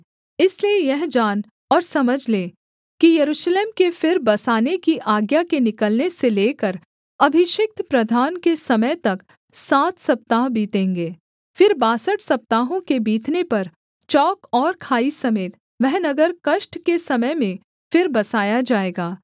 इसलिए यह जान और समझ ले कि यरूशलेम के फिर बसाने की आज्ञा के निकलने से लेकर अभिषिक्त प्रधान के समय तक सात सप्ताह बीतेंगे फिर बासठ सप्ताहों के बीतने पर चौक और खाई समेत वह नगर कष्ट के समय में फिर बसाया जाएगा